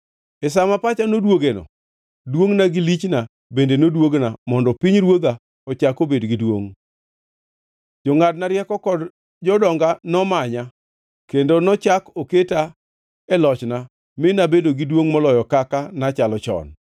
E sa ma pacha noduogeno, duongʼna gi lichna bende noduogna mondo pinyruodha ochak obed gi duongʼ. Jongʼadna rieko kod jodonga nomanya, kendo nochak oketa e lochna mi nabedo gi duongʼ moloyo kaka nachalo chon.